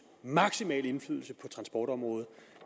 maksimal indflydelse på transportområdet